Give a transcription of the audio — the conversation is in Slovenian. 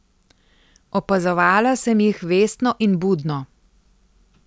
Opazovala sem jih vestno in budno.